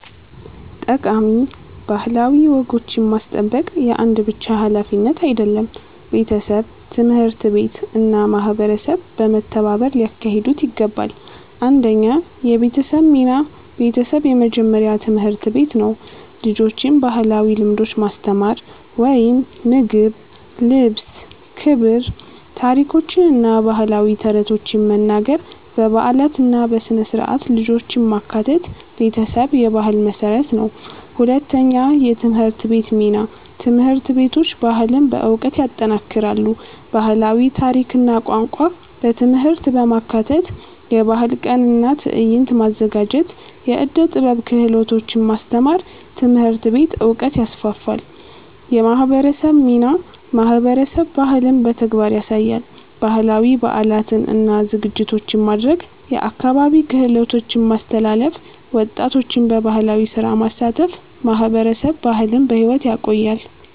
ጠቃሚ ባህላዊ ወጎችን ማስጠበቅ የአንድ ብቻ ሀላፊነት አይደለም፤ ቤተሰብ፣ ትምህርት ቤት እና ማህበረሰብ በመተባበር ሊያካሂዱት ይገባል። 1 የቤተሰብ ሚና ቤተሰብ የመጀመሪያ ትምህርት ቤት ነው። ልጆችን ባህላዊ ልምዶች ማስተማር (ምግብ፣ ልብስ፣ ክብር) ታሪኮችን እና ባህላዊ ተረቶችን መናገር በበዓላት እና በሥነ-ሥርዓት ልጆችን ማካተት ቤተሰብ የባህል መሠረት ነው። 2የትምህርት ቤት ሚና ትምህርት ቤቶች ባህልን በዕውቀት ይጠናክራሉ። ባህላዊ ታሪክ እና ቋንቋ በትምህርት ማካተት የባህል ቀን እና ትዕይንት ማዘጋጀት የዕደ ጥበብ ክህሎቶች ማስተማር ትምህርት ቤት ዕውቀትን ይስፋፋል። የማህበረሰብ ሚናማህበረሰብ ባህልን በተግባር ያሳያል። ባህላዊ በዓላትን እና ዝግጅቶችን ማድረግ የአካባቢ ክህሎቶችን ማስተላለፍ ወጣቶችን በባህላዊ ስራ ማሳተፍ ማህበረሰብ ባህልን በሕይወት ያቆያል።